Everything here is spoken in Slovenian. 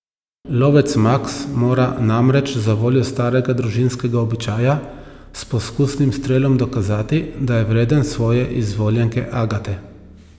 Lovec Maks mora namreč zavoljo starega družinskega običaja s poskusnim strelom dokazati, da je vreden svoje izvoljenke Agate.